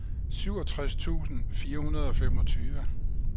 syvogtres tusind fire hundrede og femogtyve